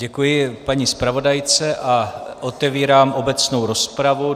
Děkuji paní zpravodajce a otevírám obecnou rozpravu.